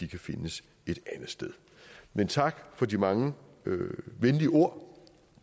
kan findes et andet sted men tak for de mange venlige ord om